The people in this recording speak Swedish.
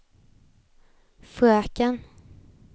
fröken